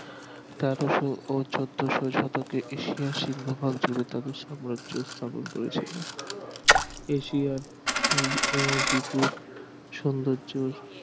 তেরোশো ও চোদ্দশো শতকে এশিয়ার সিংহভাগ জুড়ে তাদের সাম্রাজ্য স্থাপন করেছিল এশিয়ার আহ বিপুল সৌন্দর্য